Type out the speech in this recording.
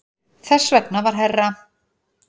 Þess vegna var herra